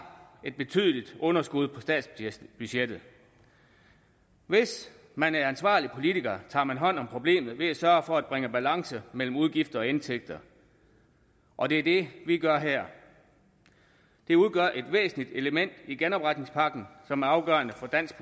et betydeligt underskud på statsbudgettet hvis man er ansvarlig politiker tager man hånd om problemet ved at sørge for at bringe balance mellem udgifter og indtægter og det er det vi gør her det udgør et væsentligt element i genopretningspakken som er afgørende for dansk